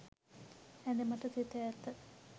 ඇඳ මත සිට ඇත